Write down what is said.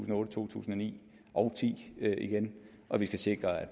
og to tusind og ni og ti igen og vi skal sikre at